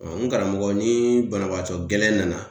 Ɔn n karamɔgɔ ni banabaatɔ gɛlɛn nana